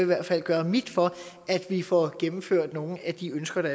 hvert fald gøre mit for at vi får gennemført nogle af de ønsker der